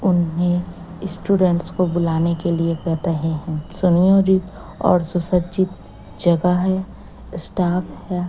उन्हें स्टूडेंट्स को बुलाने के लिए कर रहे है सुनियोजित और सुसज्जित जगह है स्टाफ है।